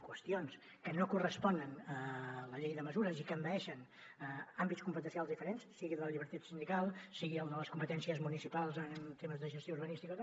qüestions que no corresponen a la llei de mesures i que envaeixen àmbits competencials diferents sigui el de la llibertat sindical sigui el de les competències municipals en temes de gestió urbanística